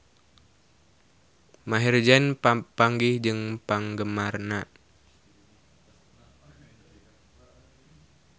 Maher Zein papanggih jeung penggemarna